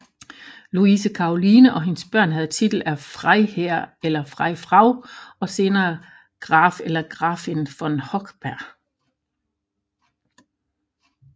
Luise Karoline og hendes børn havde titel af Freiherr eller Freifrau og senere Gräf eller Gräfin von Hochberg